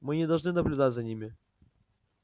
мы не должны наблюдать за ними